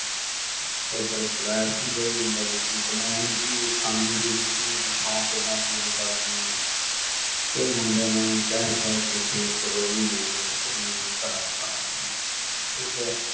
ਇਧਰ flat ਚ ਜਾਈ ਜਾਂਦਾ ਵੀ ਤੂੰ ਕਮਾਉਂਦੀ ਕੀ ਏ, ਖਾਂਦੀ ਪੀਂਦੀ ਕੀ ਏ, ਤੂੰ ਸ਼ੌਕ ਇਦਾਂ ਪੂਰੇ ਕਰਦੀ ਏ। ਤੇ ਉਹ ਮੁੰਡੇ ਨੇ ਕਹਿ-ਕਹਿ ਕੇ ਇੱਕ ਦੋ ਮਹੀਨੇ ਦੇ ਵਿੱਚ ਉਹਨੂੰ ਉਹ ਛਡਾ ਤਾ, ਠੀਕਾ।